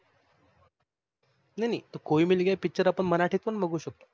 नाही नाही कोई मिल गया पिचर आपण मराठीत पण बघू शकतो.